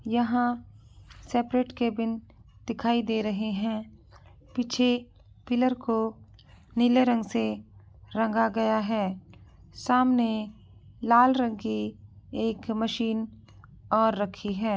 यहाँ separate cabin दिखाई दे रहे हैं पीछे पिलर को नीले रंग से रंगा गया है सामने लाल रंग की एक मशीन और रखी है।